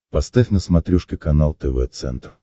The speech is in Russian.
поставь на смотрешке канал тв центр